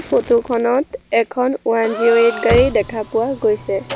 Photo খনত এখন one zero eight গাড়ী দেখা পোৱা গৈছে।